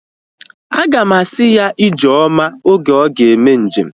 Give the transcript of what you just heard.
Aga m asị ya ijeoma oge ọ ga-eme njem